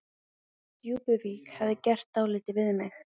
Djúpuvík hefði gert dálítið við mig.